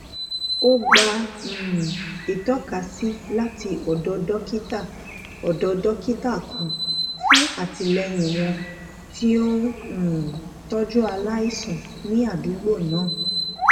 ó gba um ìtọkasí láti ọdọ dókítà ọdọ dókítà kan fún àtìlẹyìn àwọn tí ó ń um tójú aláìsàn ní àdúgbò náà